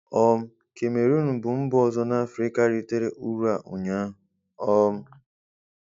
um Kamerọọn bụ mba ọzọ n'Afịrịka ritere uru a ụnyaahụ. um